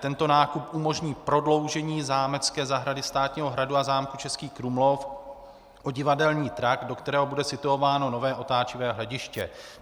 Tento nákup umožní prodloužení zámecké zahrady státního hradu a zámku Český Krumlov o divadelní trakt, do kterého bude situováno nové otáčivé hlediště.